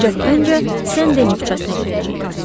Ancaq öncə Sənt Deni küçəsinə gedəcəyik.